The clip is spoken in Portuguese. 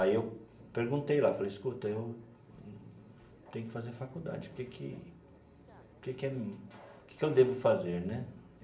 Aí eu perguntei lá, falei, escuta, eu tenho que fazer faculdade, o que que que que é que que eu devo fazer né?